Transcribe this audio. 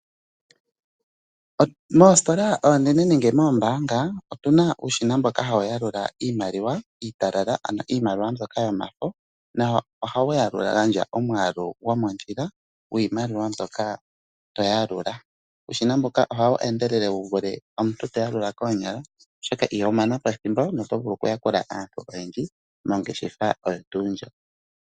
Moositola oonene ngene moombaanga, otuna uushina mboka hawu yalula iimaliwa iitalala, ano iimaliwa mbyoka yomafo na oha wu yalula/ gandja omwaalu gomondjila gwiimaliwa mbyoka to yalula. Uushina mbuka oha wu endelele wuvule omuntu ta yalula koonyala, oshoka iho mana pathimbo na oto vulu okuyakula aantu oyendji mongeshefa oyo tuu ndjo.